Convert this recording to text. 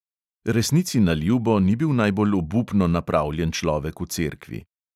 Resnici na ljubo ni bil najbolj obupno napravljen človek v cerkvi.